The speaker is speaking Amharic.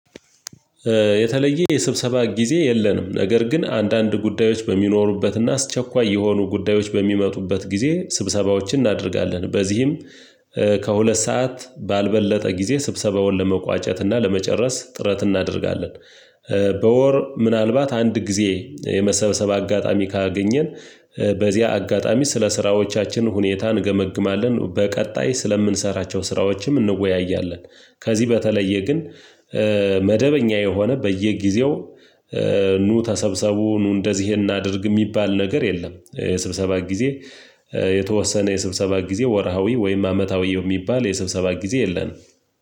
የተለየ የስብሰባ ጊዜ የለንም ነገር ግን አንዳንድ ጉዳዮች በሚኖሩበትና አስቸኳይ የሆኑ ጉዳዮች በሚመጡበት ጊዜ ስብሰባዎችን እናደርጋለን በዚህም ከሁለት ሰዓት ባልበለጠ ጊዜ ስብሰባውን ለመቋጨት እና ለመጨረስ ጥረት እናደርጋለን። በወር ምናልባት አንድ ጊዜ የመሰብሰብ አጋጣሚ ካገኘን በዚያ አጋጣሚ ስለ ስራዎቻችን ሁኔታ እንገመግማለን በቀጣይ ስለምንሰራቸው ስራዎችም እንወያያለን። ከዚህ በተለየ ግን መደበኛ የሆነ በየጊዜው ኑ ተሰብሰቡ ኑ እንደዚህ እናድርግ የሚባል ነገር የለም። የስብሰባት ጊዜ የተወሰነ የስብሰባት ጊዜ ወርሃዊ ወይም አመታዊ የሚባል የስብሰባት ጊዜ የለንም።